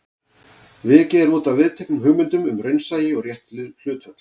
Vikið er útaf viðteknum hugmyndum um raunsæi og rétt hlutföll.